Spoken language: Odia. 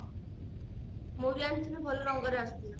ମୁଁ ବି ଆଣିଥିଲି ଭଲ ରଙ୍ଗର ଆସିଥିଲା